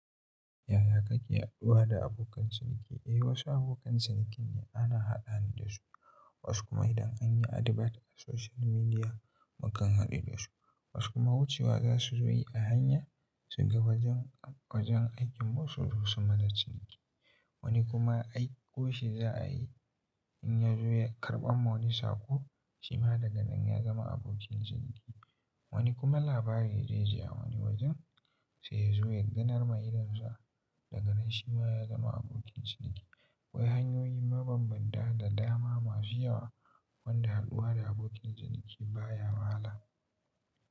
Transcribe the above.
Yaya kake haduwa da abokan ciniki? Eh, wasu abokan cinikin ana haɗa ni da su, wasu kuma idan an yi advert a social media mukan haɗu da su, wasu kuma wucewa za su zo yi a hanya su ga wajen, wajen aikinmu su zo su mana ciniki. Wani kuma aiko shi za a yi in ya zo ya karɓa ma wani saƙo, shi ma daga nan ya zama abokin ciniki. Wani kuma labari zai ji a wani wajen sai ya zo ya ganar ma idonsa daga nan shi ma ya zama abokin ciniki. Akwai hanyoyi mabambanta da dama masu yawa wanda haɗuwa da abokin ciniki baya wahala.